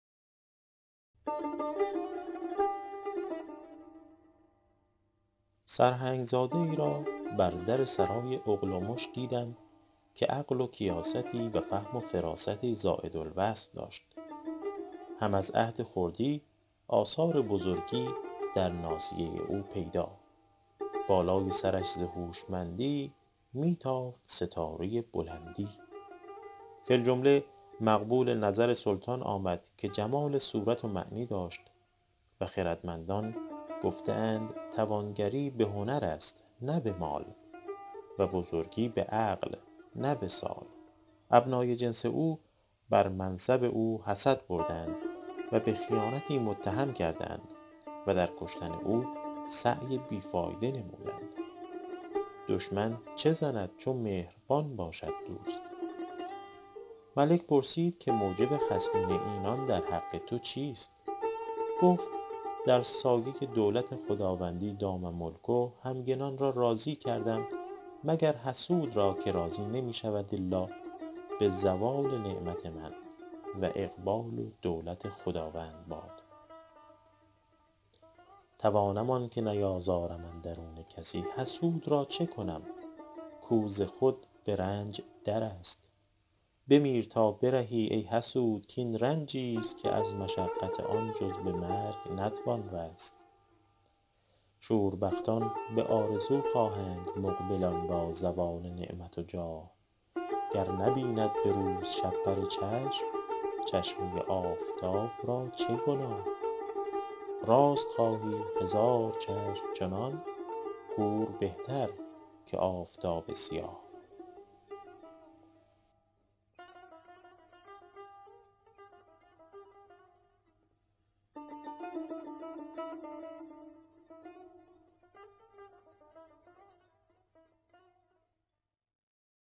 سرهنگ زاده ای را بر در سرای اغلمش دیدم که عقل و کیاستی و فهم و فراستی زاید الوصف داشت هم از عهد خردی آثار بزرگی در ناصیه او پیدا بالای سرش ز هوشمندی می تافت ستاره بلندی فی الجمله مقبول نظر سلطان آمد که جمال صورت و معنی داشت و خردمندان گفته اند توانگری به هنر است نه به مال و بزرگی به عقل نه به سال ابنای جنس او بر منصب او حسد بردند و به خیانتی متهم کردند و در کشتن او سعی بی فایده نمودند دشمن چه زند چو مهربان باشد دوست ملک پرسید که موجب خصمی اینان در حق تو چیست گفت در سایه دولت خداوندی دام ملکه همگنان را راضی کردم مگر حسود را که راضی نمی شود الا به زوال نعمت من و اقبال و دولت خداوند باد توانم آنکه نیازارم اندرون کسی حسود را چه کنم کو ز خود به رنج در است بمیر تا برهی ای حسود کاین رنجی ست که از مشقت آن جز به مرگ نتوان رست شوربختان به آرزو خواهند مقبلان را زوال نعمت و جاه گر نبیند به روز شپره چشم چشمه آفتاب را چه گناه راست خواهی هزار چشم چنان کور بهتر که آفتاب سیاه